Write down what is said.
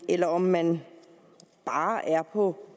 eller om man bare er på